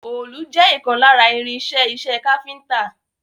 Òòlù jẹ́ ìkan lára irin-iṣẹ́ iṣẹ́ káfíńńtà.